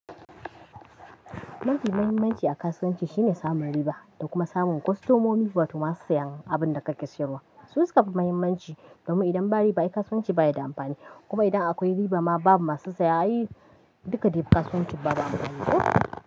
Mafi muhimmanci a kasuwanci shine samun riba da kuma samun kostomomi wato masu siyan abin da kake siyarwa. Su su ka fi muhimmanci domin idan ba riba ai kasuwanci baya da amfani. Kuma idan akwai riba ma babu masu saya duka dai kasuwanci babu amfani koh.